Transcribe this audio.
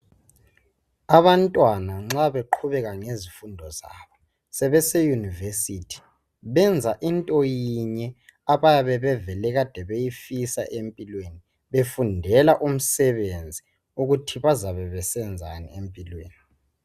Abantwana nxa beqhubeka ngesifundo zabo sebese university benza into yinye abayabe beveled beyifisa empilweni befundela umsebenzi ukuthi bazabe besenzani empilweni